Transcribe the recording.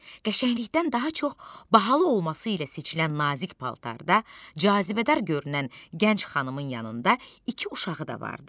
Qəşənglikdən daha çox bahalı olması ilə seçilən nazik paltarda cazibədar görünən gənc xanımın yanında iki uşağı da vardı.